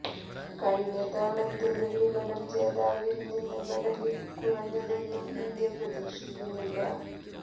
കഴിഞ്ഞ തവണത്തെ വെള്ളിമെഡൽ ജേതാവിൽ നിന്ന് മെഡലിൽ കുറഞ്ഞതൊന്നും ഇന്ത്യ പ്രതീക്ഷിക്കുന്നില്ല